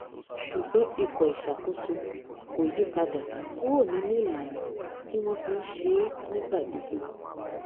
ṣùgbọn ikọ ìṣàkóso kò yí padà kúrò nínú ìlànà tí wọn fi n ṣe é nígbà gbogbo